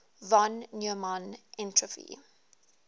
von neumann entropy